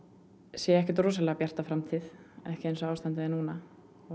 sé ekkert rosalega bjarta framtíð ekki eins og ástandið er núna og